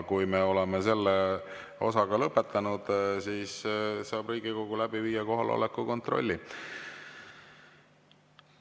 Kui me oleme selle osaga lõpetanud, siis saab Riigikogu läbi viia kohaloleku kontrolli.